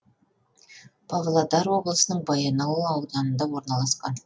павлодар облысының баянауыл ауданында орналасқан